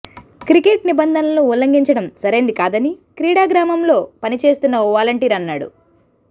cricket నిబంధనలను ఉల్లంఘించడం సరైంది కాదని క్రీడాగ్రామంలో పని చేస్తున్న ఓ వాలంటీర్ అన్నాడు